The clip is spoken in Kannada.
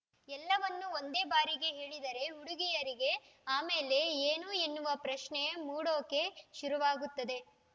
ಎಲ್ಲವನ್ನು ಒಂದೇ ಬಾರಿಗೆ ಹೇಳಿದರೆ ಹುಡುಗಿಯರಿಗೆ ಆಮೇಲೆ ಏನು ಎನ್ನುವ ಪ್ರಶ್ನೆ ಮೂಡೋಕೆ ಶುರುವಾಗುತ್ತದೆ